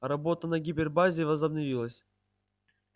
работа на гипербазе возобновилась